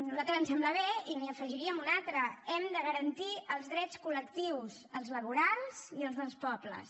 a nosaltres ens sembla bé i n’hi afegiríem un altre hem de garantir els drets col·lectius els laborals i els dels pobles